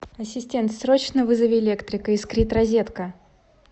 ассистент срочно вызови электрика искрит розетка